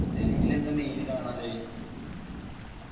ഡൽഹില് എന്താ main കാണാള്ളത്?